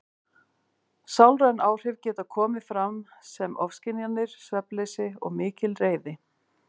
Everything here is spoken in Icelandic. Sálræn áhrif geta komið fram sem ofskynjanir, svefnleysi og mikil reiði.